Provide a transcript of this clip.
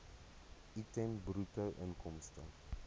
item bruto inkomste